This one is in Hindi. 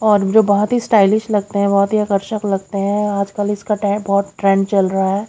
और जो बहोत ही स्टाइलिश लगते हैं बहोत ही आकर्षक लगते हैं और आजकल इसका टाइप बहोत ट्रेंड चल रहा है।